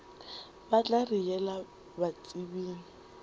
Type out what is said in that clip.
ba tla re yela batsebing